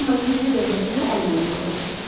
Amma gizli dövlətimə əl qoymalı oldum.